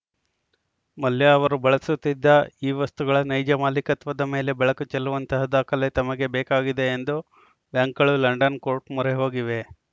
ಮಲ್ಯ ಅವರು ಬಳಸುತ್ತಿದ್ದ ಈ ವಸ್ತುಗಳ ನೈಜ ಮಾಲೀಕತ್ವದ ಮೇಲೆ ಬೆಳಕು ಚೆಲ್ಲುವಂತಹ ದಾಖಲೆ ತಮಗೆ ಬೇಕಾಗಿದೆ ಎಂದು ಬ್ಯಾಂಕುಗಳು ಲಂಡನ್‌ ಕೋರ್ಟ್‌ ಮೊರೆ ಹೋಗಿವೆ